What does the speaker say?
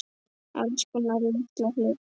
Alls konar litla hluti.